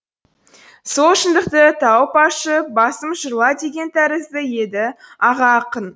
сол шындықты тауып ашып басым жырла деген тәрізді еді аға ақын